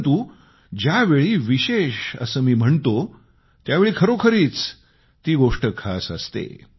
परंतु ज्यावेळी विशेष असं मी म्हणतो त्यावेळी खरोखरीच ती गोष्ट खास असते